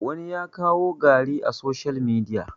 wani ya kawo gari a soshiyal midiya